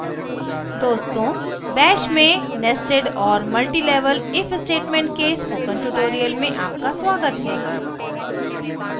दोस्तों bash में nested और multilevel if statement के spoken tutorial में आपका स्वागत है